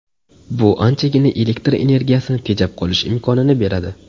Bu anchagina elektr energiyasini tejab qolish imkonini beradi.